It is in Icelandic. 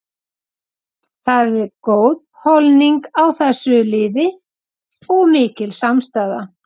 Það er góð holning á þessu liði og mikil samstaða.